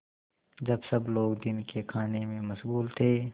जब सब लोग दिन के खाने में मशगूल थे